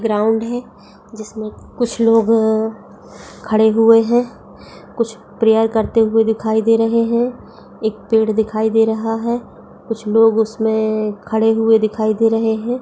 Ground है जिसमे कुछ लोग खड़े हुए हैं कुछ प्रेयर करते हुए दिखाई दे रहे हैं| एक पेड़ दिखाई दे रहा है कुछ लोग उसमे खड़े हुए दिखाई दे रहे हैं।